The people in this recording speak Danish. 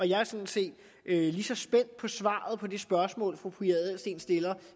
jeg er sådan set lige så spændt på svaret på det spørgsmål som fru pia adelsteen stiller